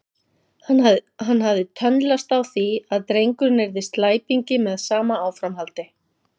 Hann hafði tönnlast á að drengurinn yrði slæpingi með sama áframhaldi.